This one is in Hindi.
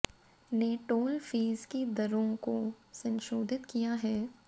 ने टोल फीस की दरों को संशोधित किया है